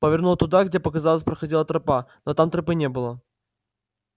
повернула туда где показалось проходила тропа но там тропы не было